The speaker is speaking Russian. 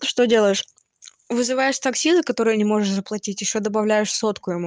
ты что делаешь вызываешь такси за которые не можешь заплатить ещё добавляешь сотку ему